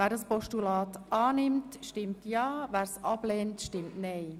Wer das Postulat annimmt, stimmt ja, wer es ablehnt, stimmt nein.